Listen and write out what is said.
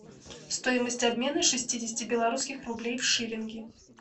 стоимость обмена шестидесяти белорусских рублей в шиллинги